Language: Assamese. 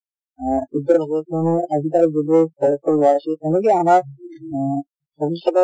অ উজ্জ্বল হব আজি কালি যিবোৰ আমাৰ আহ ভৱিষ্যতৰ